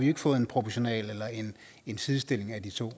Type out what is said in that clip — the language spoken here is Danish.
ikke fået en proportionalitet og en sidestilling af de to